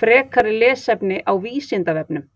Frekara lesefni á Vísindavefnum